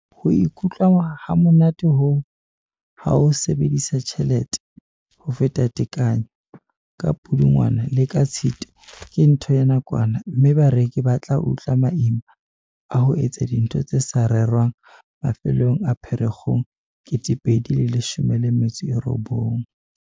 Ho ikutlwa hamonate hoo, ha o sebedisa tjhelete ho feta tekanyo ka Pudungwana le ka Tshitwe ke ntho ya nakwana, mme bareki ba tla utlwa maima a ho etsa dintho tse sa rerwang mafelong a Pherekgong 2019.